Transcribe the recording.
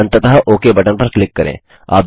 और अंततः okay button पर क्लिक करें